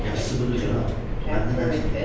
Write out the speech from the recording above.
Yaxşısı budur, cənab, məndən əl çəkin.